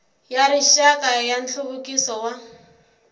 ya rixaka ya nhluvukiso wa